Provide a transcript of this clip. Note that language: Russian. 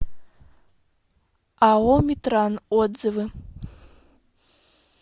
ао метран отзывы